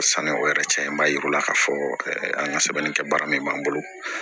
Sanni o yɛrɛ cɛn b'a yira u la k'a fɔ an ka sɛbɛnnikɛ baara min b'an bolo